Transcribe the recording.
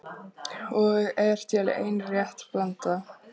Og er til ein rétt blanda